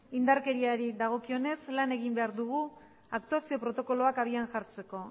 indarkeriari dagokionez lan egin behar dugu aktuazio protokoloak abian jartzeko